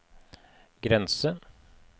grense